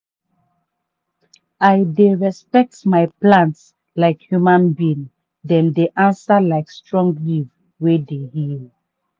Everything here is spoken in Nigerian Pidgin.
i dey respect my plants like human being dem dey answer like strong leaf wey dey heal.